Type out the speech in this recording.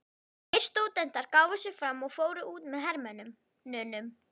Tveir stúdentar gáfu sig fram og fóru út með hermönnunum.